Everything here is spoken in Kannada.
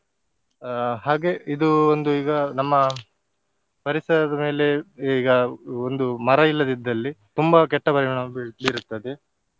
ಆ ಹಾಗೆ ಇದು ಒಂದು ಈಗ ನಮ್ಮ ಪರಿಸರದ ಮೇಲೆ ಈಗ ಒಂದು ಮರ ಇಲ್ಲದಿದ್ದಲ್ಲಿ ತುಂಬಾ ಕೆಟ್ಟ ಪರಿಣಾಮ ಬೀಳ್~ ಬೀರುತ್ತದೆ.